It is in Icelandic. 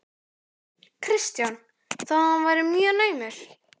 Kristján: Þó hann verið mjög naumur?